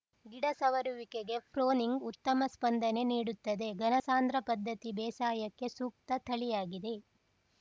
ಗಿಡ ಸವರುವಿಕೆಗೆ ಪ್ರೂನಿಂಗ್‌ ಉತ್ತಮ ಸ್ಪಂದನೆ ನೀಡುತ್ತದೆ ಘನಸಾಂದ್ರ ಪದ್ದತಿ ಬೇಸಾಯಕ್ಕೆ ಸೂಕ್ತ ತಳಿಯಾಗಿದೆ